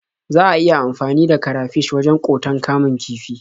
Za a iya amfani da karafish wajen ƙoton kamun kifi.